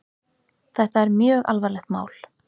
Þetta er mjög alvarlegt mál.